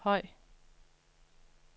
høj